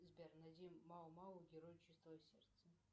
сбер найди мао мао герой чистого сердца